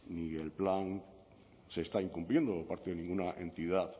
ni el plan se está incumpliendo por parte de ninguna entidad